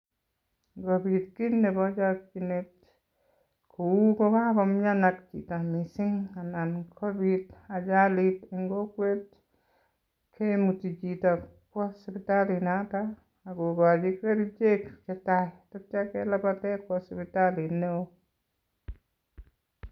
Ngopit kei nebo chokchinet kou kakomian chito mising anan kopit ajalit eng kokwet kemut chito kwo sipitalit notok akokochi kerichek chetai sityo kelapete kwo sipitalit neo.